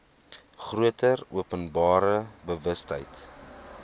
groter openbare bewustheid